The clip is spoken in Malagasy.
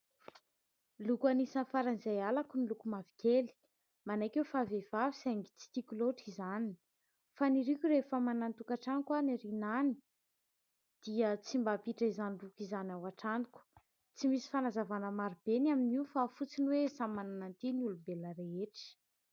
Loko anisan'ny faran'izay halako ny loko mavokely. Manaiky aho fa vehivavy saingy tsy tiako loatra izany. Faniriako rehefa manana ny tokantranoko aho any aoriana any dia tsy mba ampiditra izany loko izany an-trano. Tsy misy fanazavana maro be ny amin'io fa fotsiny hoe samy manana ny tiany ny olombelona rehetra.